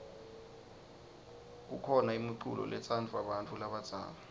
kukhona imiculo letsandvwa bantfu labadzala